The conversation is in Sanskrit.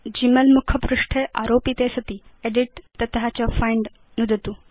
ग्मेल मुखपृष्ठे आरोपिते सति एदित् तत च फाइण्ड नुदतु